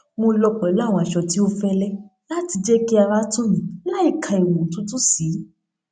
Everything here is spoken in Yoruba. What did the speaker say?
mo lọ pẹlú àwọn aṣọ tí ó fẹlẹ láti jẹ kí ara tù mí láìka ìwọn òtútù sí